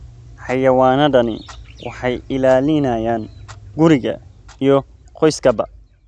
Xayawaanadani waxay ilaalinayaan guriga iyo qoyskaba.